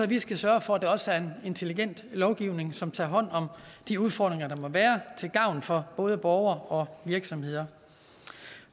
vi skal sørge for at der også er en intelligent lovgivning som tager hånd om de udfordringer der måtte være til gavn for både borgere og virksomheder